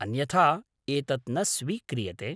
अन्यथा एतत् न स्वीक्रियते।